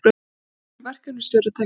Ný verkefnisstjórn taki við völdum